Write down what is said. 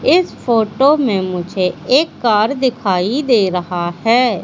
इस फोटो में मुझे एक कार दिखाई दे रहा है।